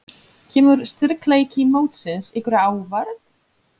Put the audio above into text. Kemur styrkleiki mótsins ykkur á óvart?